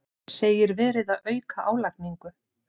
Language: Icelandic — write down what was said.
Segir verið að auka álagningu